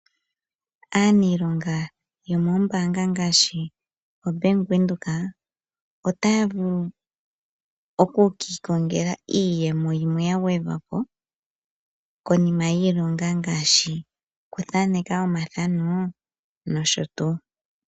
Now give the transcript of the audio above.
Aanilonga yomoombanga ngaashi oBank Windhoek, otaa vulu oku kiikongela iiyemo yimwe ya gwedhwapo konima yiilonga, ngaashi okuthaaneka omathano nosho tuu.